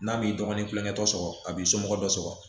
N'a b'i dɔgɔnin kulonkɛ tɔ sɔrɔ a b'i somɔgɔ dɔ sɔrɔ